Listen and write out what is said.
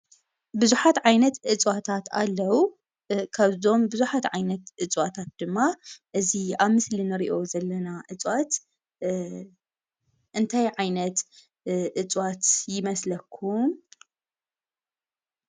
ብዙሓት ዓይነት እፅዋታት ኣለው:: ካብእዚኦም ብዙሓት ዓይነት እፅዋታት ድማ እዚ ኣብ ምስሊ ንሪኦ ዘለና እፅዋት እንታይ ዓይነት እፅዋት ይመስለኩም ?